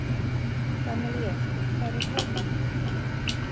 Gamalíel, hvar er dótið mitt?